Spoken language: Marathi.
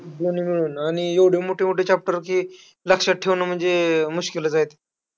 दोन्ही मिळून. आणि एवढे मोठे मोठे chapter की, लक्षात ठेवणं म्हणजे मुशकील आहे.